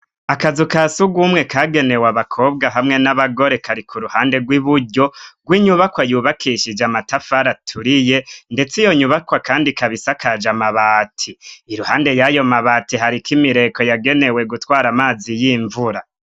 Akazu kasugumwe kagenewe abakobwa hamwe n'abagore kari kuruhande rw'iburyo rw'inyubako yubakishije amatafari aturiye, ndetse iyo nyubakwa kandi ikabisakaje amabati, iruhande yayo mabati hariko imireko yagenewe gutwara amazi y'imvura.